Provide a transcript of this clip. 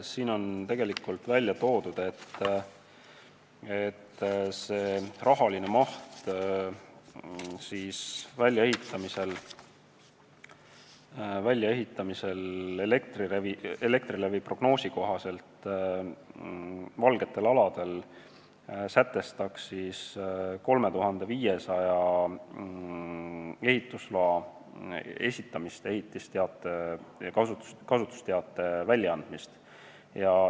Siin on tegelikult välja toodud, et Elektrilevi prognoosi kohaselt tähendaks see väljaehitamine "valgetel aladel" 3500 ehitusloa esitamist, ehitusteatise ja kasutusteatise väljaandmist.